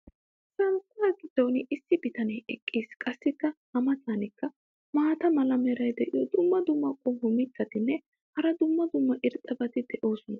Santtaa giddon issi bitanee eqqis. qassi a matankka maata mala meray diyo dumma dumma qommo mitattinne hara dumma dumma irxxabati de'oosona.